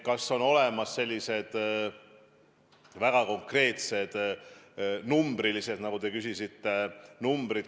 Kas on olemas sellised väga konkreetsed numbrid, nagu te küsisite?